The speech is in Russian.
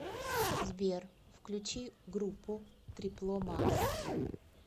сбер включи группу трипло макс